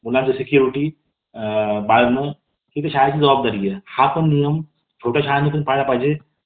पस्तीस मध्ये दिले होते. तसेच मार्गदर्शक तत्वे राज्यघटनेच्या भाग चार आणि कलम छत्तीस ते एकावन्न मध्ये दिलेली आहे. आता मार्गदर्शक तत्व कुठून घेतलेली आहे आपण?